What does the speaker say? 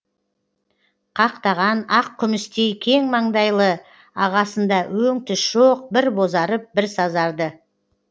қақтаған ақ күмістей кең маңдайлы ағасында өң түс жоқ бір бозарып бір сазарды